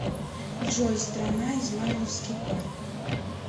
джой страна измайловский парк